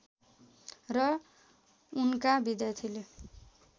र उनका विद्यार्थीले